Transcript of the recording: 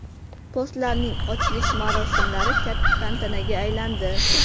Postlarning ochilish marosimlari katta tantanaga aylandi.